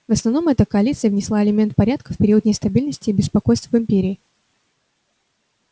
в основном эта коалиция внесла элемент порядка в период нестабильности и беспокойств в империи